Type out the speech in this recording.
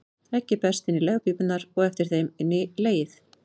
Eggið berst inn í legpípurnar og eftir þeim inn í legið.